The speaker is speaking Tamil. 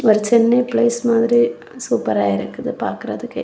ஒரு சென்னை ப்ளேஸ் மாதிரி சூப்பரா இருக்குது பாக்கிறதுக்கே.